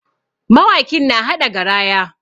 Mawakin na haɗa garaya.